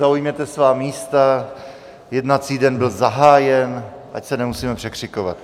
Zaujměte svá místa, jednací den byl zahájen, ať se nemusíme překřikovat.